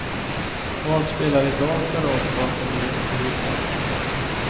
Vad spelar i dag för roll vad som ligger under ytan.